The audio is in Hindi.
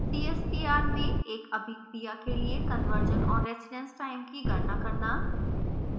cstr में एक अभिक्रिया के लिए conversion और residence time की गणना करना